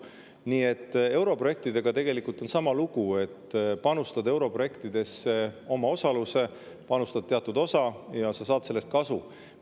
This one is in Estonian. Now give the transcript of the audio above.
Nii et europrojektidega tegelikult on sama lugu: panustad europrojektidesse omaosalusega, panustad teatud osa ja saad sellest kasu.